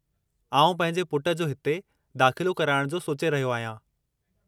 आऊं पंहिंजे पुटु जो हिते दाख़िलो कराइणु जो सोचे रहियो आहियां।